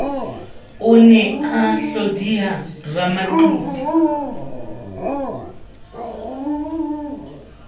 o ne a hlodiya ramaqiti